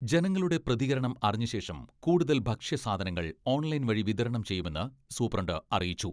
ജനങ്ങളുടെ പ്രതികരണം അറിഞ്ഞ ശേഷം കൂടുതൽ ഭക്ഷ്യസാധനങ്ങൾ ഓൺലൈൻ വഴി വിതരണം ചെയ്യുമെന്ന് സൂപ്രണ്ട് അറിയിച്ചു.